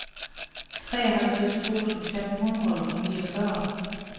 treoghalvtreds tusind fem hundrede og niogfyrre